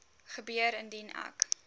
gebeur indien ek